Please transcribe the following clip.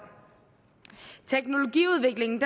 teknologiudviklingen